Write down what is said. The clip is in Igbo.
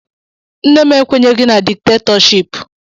Nne m ekwenyeghị na diktatọship.